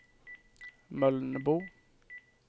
Mölnbo